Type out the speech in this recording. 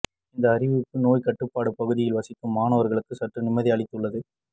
இந்த அறிவிப்பு நோய் கட்டுப்பாட்டு பகுதியில் வசிக்கும் மாணவர்களுக்கு சற்று நிம்மதியை அளித்துள்ளது